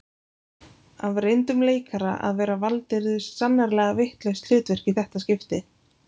Af reyndum leikara að vera valdirðu sannarlega vitlaust hlutverk í þetta skiptið